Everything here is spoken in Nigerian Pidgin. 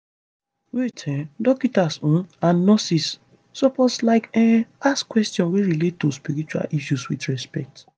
wait eh dokita's um and nurses suppose like um ask questions wey relate to spiritual issues with respect